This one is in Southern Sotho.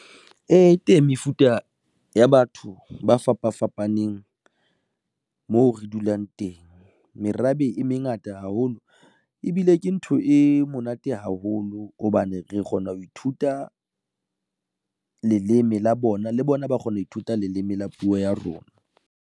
Ee, teng mefuta ya batho ba fapa fapaneng moo re dulang teng. Merabe e mengata haholo ebile ke ntho e monate haholo hobane re kgona ho ithuta leleme la bona le bona ba kgona ho ithuta leleme la puo ya rona.